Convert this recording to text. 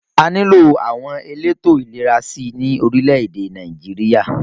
A nílò àwọn elétò ìlera sí i ní orílẹ̀-èdè Nàìjíríà